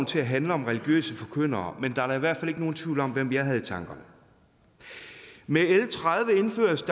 til at handle om religiøse forkyndere men der er da i hvert fald ikke nogen tvivl om hvem jeg havde i tankerne med l tredive indføres